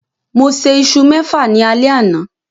Mo sè isu mẹfa ní alé àna